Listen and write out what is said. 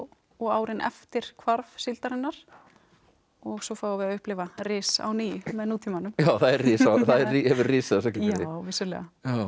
og árin eftir hvarf síldarinnar og svo fáum við að upplifa ris á ný með nútímanum já það hefur risið hefur risið á Siglufirði já vissulega